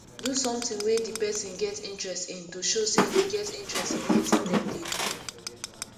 do something wey di person get interest in to show sey you get interest in wetin dem dey do